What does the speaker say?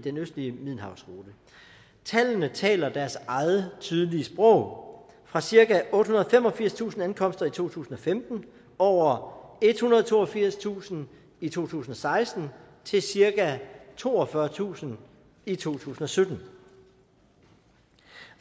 den østlige middelhavsrute tallene taler deres eget tydelige sprog fra cirka ottehundrede og femogfirstusind ankomster i to tusind og femten over ethundrede og toogfirstusind i to tusind og seksten til cirka toogfyrretusind i to tusind og sytten